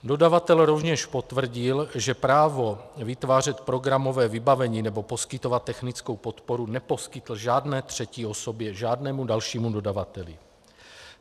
Dodavatel rovněž potvrdil, že právo vytvářet programové vybavení nebo poskytovat technickou podporu neposkytl žádné třetí osobě, žádnému dalšímu dodavateli.